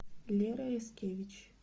лера яскевич